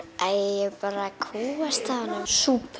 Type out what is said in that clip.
ég bara kúgast af honum súpur